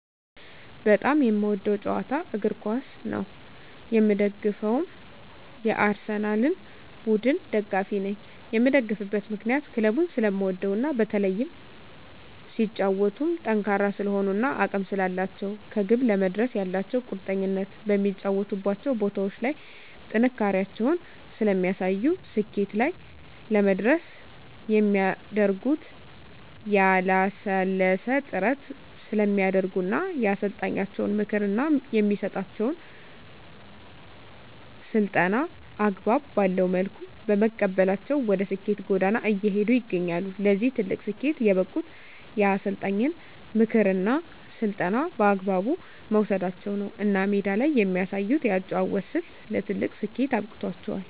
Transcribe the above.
በጣም የምወደዉ ጨዋታ እግርኳስ ነዉ የምደግፈዉም የአርሰላን ቡድን ደጋፊ ነኝ የምደግፍበት ምክንያት ክለቡን ስለምወደዉ እና በተለይም ሲጫወቱም ጠንካራ ስለሆኑ እና አቅም ስላላቸዉ ከግብ ለመድረስ ያላቸዉ ቁርጠኝነት በሚጫወቱባቸዉ ቦታዎች ላይ ጥንካሬያቸውን ስለሚያሳዩ ስኬት ላይ ለመድረስ የሚያደርጉት ያላለሰለሰ ጥረት ስለሚያደርጉ እና የአሰልጣኛቸዉን ምክር እና የሚሰጣቸዉን ስልጠና አግባብ ባለዉ መልኩ በመቀበላቸዉ ወደ ስኬት ጎዳና እየሄዱ ይገኛሉ ለዚህ ትልቅ ስኬት የበቁት የአሰልጣኝን ምክርና ስልጠና በአግባቡ መዉሰዳቸዉ ነዉ እና ሜዳ ላይ የሚያሳዩት የአጨዋወት ስልት ለትልቅ ስኬት አብቅቷቸዋል